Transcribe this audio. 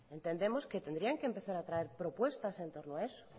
entendemos que tendrían que empezar a traer propuestas en torno a eso